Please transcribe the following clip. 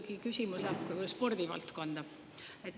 Minu küsimus läheb spordivaldkonda.